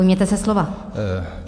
Ujměte se slova.